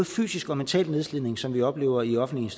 fysisk og mental nedslidning som vi oplever i offentlige